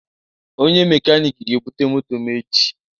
Onye mechanic ga-ebute moto m echi